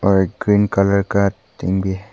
वह एक cream colour का टीन भी है।